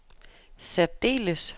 særdeles